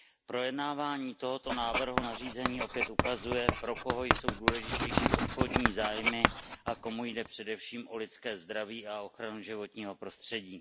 Projednávání tohoto návrhu nařízení opět ukazuje, pro koho jsou důležitější obchodní zájmy a komu jde především o lidské zdraví a ochranu životního prostředí.